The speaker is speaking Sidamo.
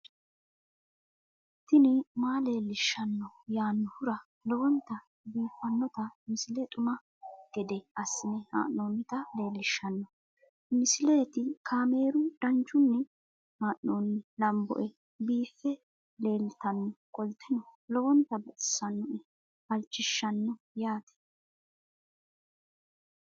tini maa leelishshanno yaannohura lowonta biiffanota misile xuma gede assine haa'noonnita leellishshanno misileeti kaameru danchunni haa'noonni lamboe biiffe leeeltannoqolten lowonta baxissannoe halchishshanno yaate